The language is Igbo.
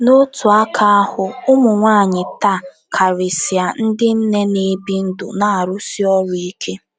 N'otu aka ahụ, ụmụ nwanyị taa, karịsịa ndị nne na-ebi ndụ na-arụsi ọrụ ike.